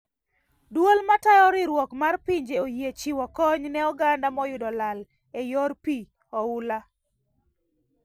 Duol ,matayo riuruok mar pinje oyie chiwo kony ne oganda moyudo lal e yor pii oula